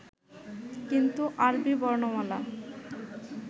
কিন্তু আরবী বর্ণমালা